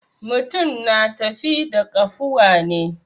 Mutum na tafi da ƙafuwa ne.